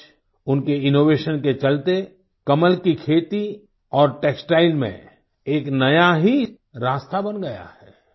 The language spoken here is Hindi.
आज उनके इनोवेशन के चलते कमल की खेती और टेक्सटाइल में एक नया ही रास्ता बन गया है